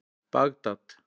Bagdad